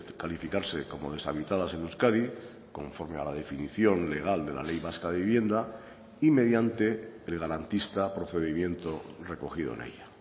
calificarse como deshabitadas en euskadi conforme a la definición legal de la ley vasca de vivienda y mediante el garantista procedimiento recogido en ella